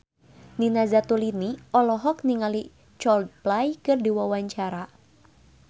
Nina Zatulini olohok ningali Coldplay keur diwawancara